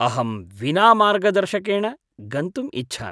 अहं विना मार्गदर्शकेण गन्तुम् इच्छामि।